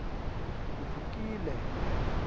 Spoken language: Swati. vukile